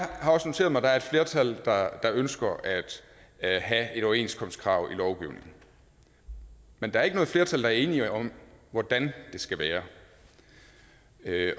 har også noteret mig at der er et flertal der ønsker at have et overenskomstkrav i lovgivningen men der er ikke noget flertal der er enige om hvordan det skal være